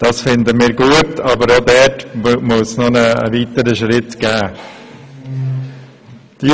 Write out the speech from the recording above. Das finden wir gut, aber auch hier muss ein weiterer Schritt folgen.